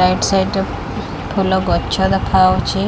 right side ଉଁହୁଁ ଫୁଲ ଗଛ ଦେଖାହଉଛି